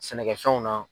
Sɛnɛkɛfɛnw na